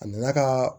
A nana ka